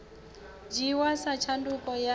dzhiiwa sa tshanduko ya dzina